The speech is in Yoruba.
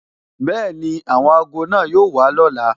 Bẹẹni, àwọn ago náà yóò wà lọ́la